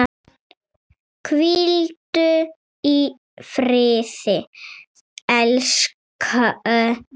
Hvíldu í friði elsku mamma.